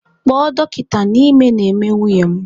Kpọọ dọkịta na ime na-eme nwunye m!